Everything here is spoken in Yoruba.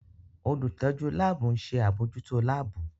Olutọju laabu n ṣe abojuto laabu.